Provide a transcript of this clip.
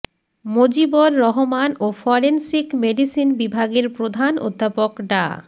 মজিবর রহমান ও forensic medicine বিভাগের প্রধান অধ্যাপক ডা